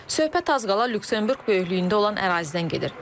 Söhbət az qala Lüksemburq böyüklüyündə olan ərazidən gedir.